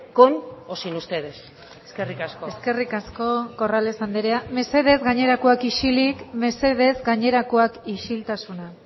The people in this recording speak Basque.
con o sin ustedes eskerrik asko eskerrik asko corrales anderea mesedez gainerakoak isilik mesedez gainerakoak isiltasuna